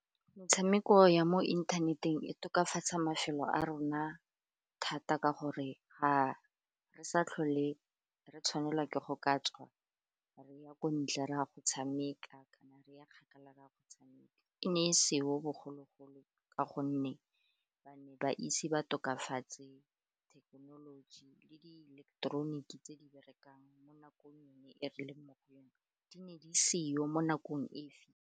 Metshameko ya mo inthaneteng e tokafatsa mafelo a rona thata ka gore ga re sa tlhole re tshwanelwa ke go ka tswa re ya ko ntle ra go tshameka, kana re ya kgakala ra go tshameka, e ne e seo bogologolo ka gonne ba ne ba itse ba tokafatse thekenoloji le di ileketeroniki tse di berekang mo nakong yone e re leng mo go yone, di ne di seo mo nakong e .